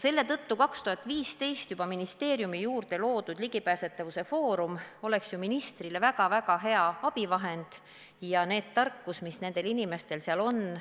Selle tõttu oleks juba 2015 ministeeriumi juurde loodud ligipääsetavuse foorum ministrile väga-väga hea abivahend ja samuti need tarkused, mis nendel inimestel on.